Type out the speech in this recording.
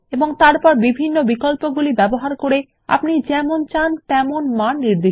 তারপর বিভিন্ন বিকল্পগুলি ব্যবহার করে আপনি যেমন চান তেমন মান নির্দিষ্ট করুন